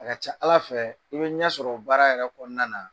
A ka ca Ala fɛ, i be ɲɛ sɔrɔ o baara yɛrɛ kɔɔna na.